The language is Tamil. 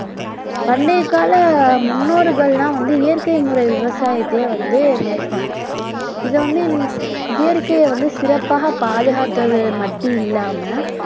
பண்டையகால முன்னோர்கள் எல்லாம் வந்து இயற்கை முறை விவசாயத்தையே வந்து மேற்கொண்டாங்க இதை வந்து இயற்கையை வந்து சிறப்பாகப் பாதுகாத்தது மட்டும் இல்லாம